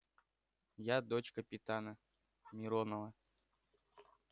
я дочь капитана миронова